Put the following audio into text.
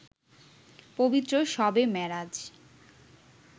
পবিত্র শবে মেরাজ